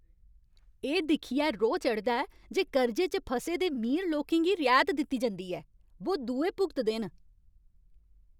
एह् दिक्खियै रोह् चढ़दा ऐ जे कर्जे च फसे दे मीर लोकें गी रिऐत दित्ती जंदी ऐ बो दुए भुगतदे न।